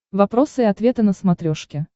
вопросы и ответы на смотрешке